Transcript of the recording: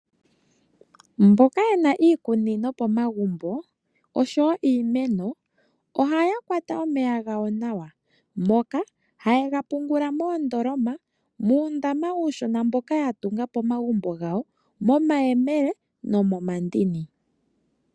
Mboka ye na iikunino pomagumbo osho wo iimeno ohaya kwata omeya gawo nawa, moka haye ga pungula moondoloma, muundama uushona mboka ya tunga pomagumbo gawo, momayele nomomandini.